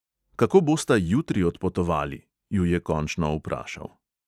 "Kako bosta jutri odpotovali?" ju je končno vprašal.